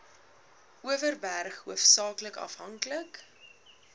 overberg hoofsaaklik afhanklik